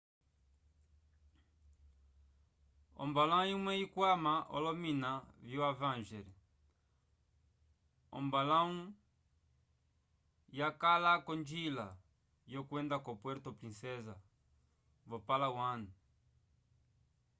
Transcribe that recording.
ombalãwu imwe ikwama olomina vio avenger ombaluku yakala k'onjila yokwenda ko puerto princesa vo-palawan